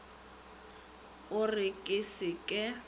o re ke se ke